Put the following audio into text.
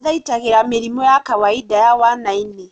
Mathaitagĩra mĩrimũ ya kawainda ya wana-inĩ